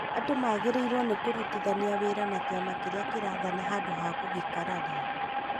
andũ magĩrĩirwo nĩ kũrutithania wĩra na kĩama kĩrĩa kĩrathana handũ ha gũgĩkararia